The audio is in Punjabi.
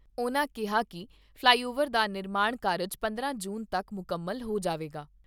ਉਨ੍ਹਾਂ ਕਿਹਾ ਕਿ ਫਲਾਈਓਵਰ ਦਾ ਨਿਰਮਾਣ ਕਾਰਜ ਪੰਦਰਾਂ ਜੂਨ ਤੱਕ ਮੁਕੰਮਲ ਹੋ ਜਾਵੇਗਾ।